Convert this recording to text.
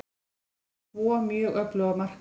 Við vorum með tvo mjög öfluga markmenn.